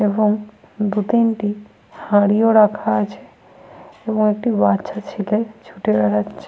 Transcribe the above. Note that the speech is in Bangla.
এবং দু তিনটি হাঁড়ি ও রাখা আছে এবং একটি বাচ্চা ছেলে ছুটে বেড়াচ্ছে।